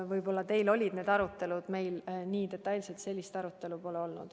Võib-olla teil olid need arutelud, meil detailset arutelu sel teemal pole olnud.